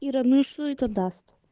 ира ну и что это даст